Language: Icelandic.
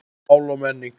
Mál og menning